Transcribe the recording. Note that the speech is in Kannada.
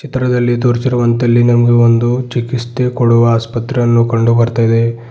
ಚಿತ್ರದಲ್ಲಿ ತೋರಿಸಿರುವಂತೆ ಇಲ್ಲಿ ನಮಗೆ ಒಂದು ಚಿಕಿಸ್ತೆ ಕೊಡುವ ಆಸ್ಪತ್ರೆಯನ್ನು ಕಂಡು ಬರ್ತಾಯಿದೆ.